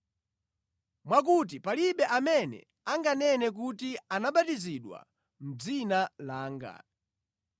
mwakuti palibe amene anganene kuti anabatizidwa mʼdzina langa.